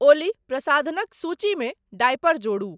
ओली प्रसाधनक सूची मे डायपर जोड़ु ।